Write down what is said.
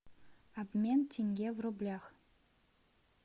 обмен тенге в рублях